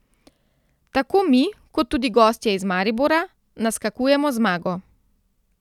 Tako mi, kot tudi gostje iz Maribora, naskakujemo zmago.